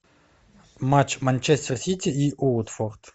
матч манчестер сити и уотфорд